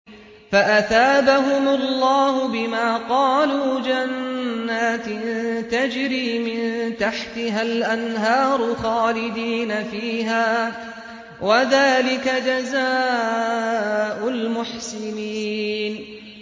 فَأَثَابَهُمُ اللَّهُ بِمَا قَالُوا جَنَّاتٍ تَجْرِي مِن تَحْتِهَا الْأَنْهَارُ خَالِدِينَ فِيهَا ۚ وَذَٰلِكَ جَزَاءُ الْمُحْسِنِينَ